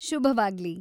ಶುಭವಾಗ್ಲಿ!